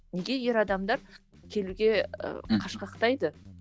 неге ер адамдар келуге ііі қашқақтайды